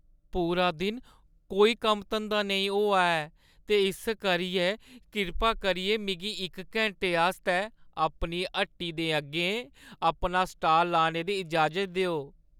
पूरा दिन कोई कम्म-धंदा नेईं होआ ऐ ते इस करियै किरपा करियै मिगी इक घैंटे आस्तै अपनी हट्टी दे अग्गें अपना स्टाल लाने दी इजाज़त देओ।